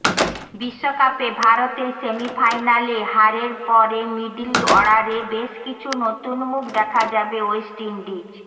বিশ্বকাপে ভারতের সেমিফাইনালে হারের পরে মিডল অর্ডারে বেশ কিছু নতুন মুখ দেখা যাবে ওয়েস্ট ইন্ডিজ